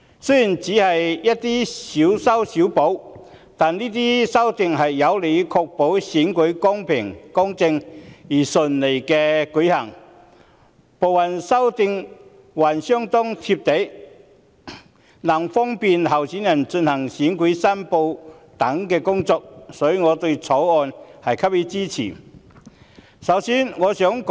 雖然這些修訂只屬"小修小補"，但有利確保選舉公平公正並順利地舉行，部分修訂還相當"貼地"，利便候選人進行選舉申報等工作，所以我支持《條例草案》。